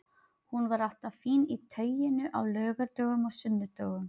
Hún var alltaf fín í tauinu á laugardögum og sunnudögum.